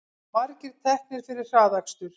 Margir teknir fyrir hraðakstur